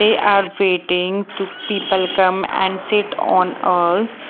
they are waiting to people come and sit on us--